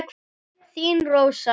Þín Rósa.